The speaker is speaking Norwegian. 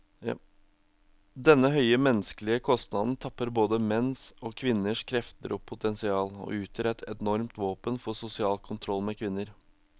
Denne høye menneskelige kostnaden tapper både menns og kvinners krefter og potensial, og utgjør et enormt våpen for sosial kontroll med kvinner.